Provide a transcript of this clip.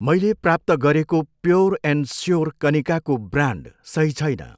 मैले प्राप्त गरेको प्योर एन्ड स्योर कनिकाको ब्रान्ड सही छैन।